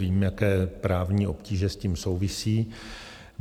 Vím, jaké právní obtíže s tím souvisí.